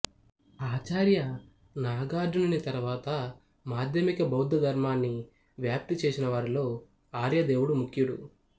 ఆచార్య నాగార్జునుని తరువాత మాధ్యమిక బౌద్ధధర్మాన్ని వ్యాప్తి చేసిన వారిలో ఆర్యదేవుడు ముఖ్యుడు